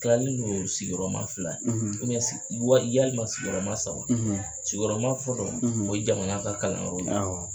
Tilalen don sigiyɔrɔma fila walima sigiyɔrɔma saba, sigiyɔrɔma fɔlɔ o ye jamana ka kalanyɔrɔ ye